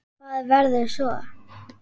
Hvað verður svo?